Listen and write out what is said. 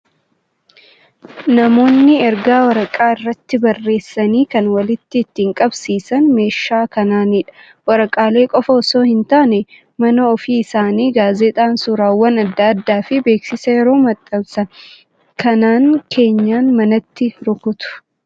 Namoonni ergaa waraqaa irratti barreessanii kan walitti ittiin qabsiifatan meeshaa kanaanidha. Waraqaalee qofaa osoo hin taane, mana ofii isaanii gaazexaan, suuraawwan adda addaa fi beeksisa yeroo maxxansan kanaan keenyan manaatti rukutu.